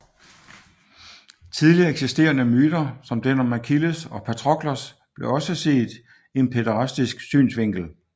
Tidligere eksisterende myter som den om Achilles og Patroklos blev også set i en pæderastisk synsvinkel